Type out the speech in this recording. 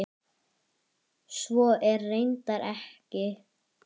Svo er reyndar ekki.